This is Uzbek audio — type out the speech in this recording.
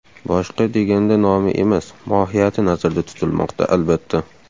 Boshqa deganda nomi emas, mohiyati nazarda tutilmoqda, albatta.